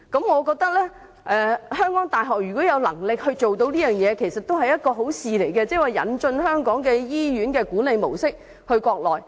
我覺得如果香港大學有能力這樣做，其實也是好事，即把香港醫院的管理模式引進國內。